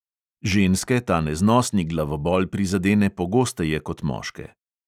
Ženske ta neznosni glavobol prizadene pogosteje kot moške.